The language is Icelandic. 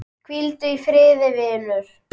Hvíldu í friði, vinur.